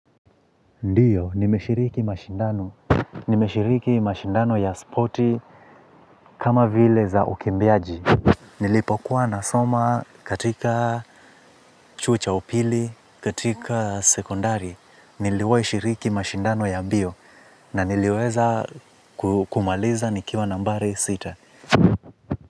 Ndiyo, nimeshiriki mashindano ya spoti kama vile za ukimbiaji. Nilipokuwa nasomo katika chuo cha upili katika secondari niliwahishiriki mashindano yambio na niliweza kumaliza nikiwa nambari sita.